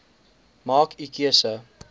maak u keuse